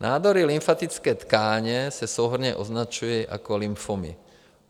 Nádory lymfatické tkáně se souhrnně označují jako lymfomy.